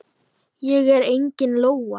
Ég er engin lóa.